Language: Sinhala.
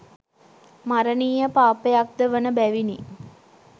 මරණීය පාපයක් ද වන බැවිණි.